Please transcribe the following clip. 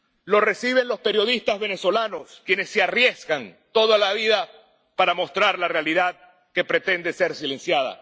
Lo reciben los periodistas venezolanos, que se arriesgan toda la vida para mostrar la realidad que pretende ser silenciada.